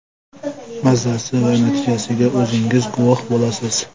Mazasi va natijasiga o‘zingiz guvoh bo‘lasiz.